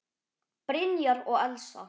Brynjar og Elsa.